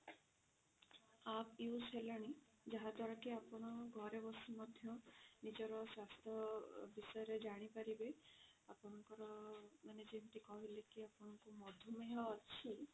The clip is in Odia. app use ହେଲାଣି ଯାହା ଦ୍ଵାରା କି ଆପଣ ଘରେ ବସି ମଧ୍ୟ ନିଜର ସ୍ୱାସ୍ଥ୍ୟ ବିଷୟରେ ଜାଣିପାରିବେ ଆପଣଙ୍କର ଆପଣ ଯେମିତି କି କହିଲେ କି ଆପଣଙ୍କର ମଧୁମେୟ ଅଛି